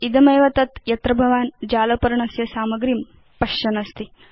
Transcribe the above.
इदमेव तत् यत्र भवान् जालपर्णस्य सामग्रीं पश्यन् अस्ति